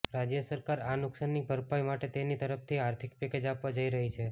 રાજ્ય સરકાર આ નુકસાનની ભરપાઇ માટે તેની તરફથી આર્થિક પેકેજ આપવા જઈ રહી છે